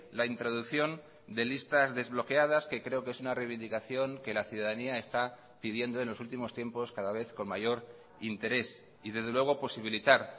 la introducción de listas desbloqueadas que creo que es una reivindicación que la ciudadanía está pidiendo en los últimos tiempos cada vez con mayor interés y desde luego posibilitar